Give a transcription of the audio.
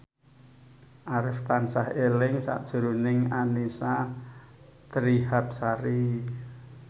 Arif tansah eling sakjroning Annisa Trihapsari